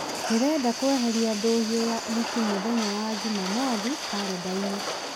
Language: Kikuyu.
ndĩrenda kweheria ndũũhio ya ũhiki mũthenya wa njumamothi karenda-inĩ